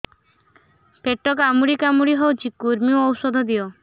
ପେଟ କାମୁଡି କାମୁଡି ହଉଚି କୂର୍ମୀ ଔଷଧ ଦିଅ